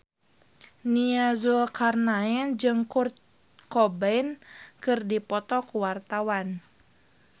Nia Zulkarnaen jeung Kurt Cobain keur dipoto ku wartawan